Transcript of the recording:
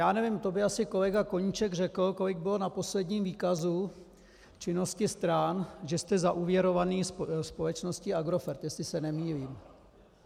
Já nevím, to by asi kolega Koníček řekl, kolik bylo na posledním výkazu činnosti stran, že jste zaúvěrovaní společností Agrofert, jestli se nemýlím.